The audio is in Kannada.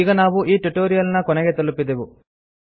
ಈಗ ನಾವು ಈ ಟ್ಯುಟೊರಿಯಲ್ ನ ಕೊನೆಗೆ ತಲುಪಿದೆವು